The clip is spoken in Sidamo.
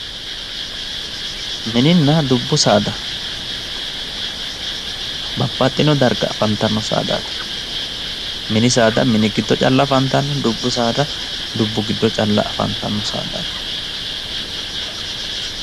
Mininna dubbu saada, babbaxinno darga afantanno saadaati, mini saada mini giddo calla afantanno, dubbu saada dubbu giddo calla afantanno saadaatti.